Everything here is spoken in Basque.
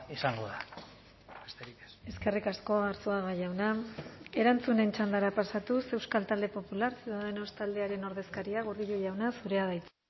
izango da besterik ez eskerrik asko arzuaga jauna erantzunen txandara pasatuz euskal talde popular ciudadanos taldearen ordezkaria gordillo jauna zurea da hitza